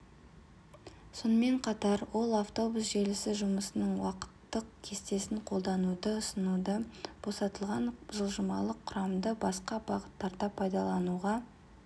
сонымен қатар ол автобус желісі жұмысының уақыттық кестесін қолдануды ұсынды босатылған жылжымалы құрамды басқа бағыттарда пайдалануға